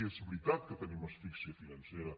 i és veritat que tenim asfíxia financera